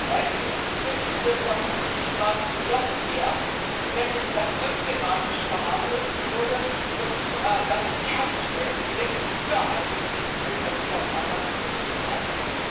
Heute wissen wir über Fukushima noch mehr, nämlich dass systematisch verharmlost wurde und dass die Kernschmelzen sehr viel früher eingetreten sind als die Japaner zugegeben hatten.